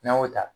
N'an y'o ta